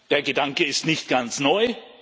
Der Gedanke ist nicht ganz neu.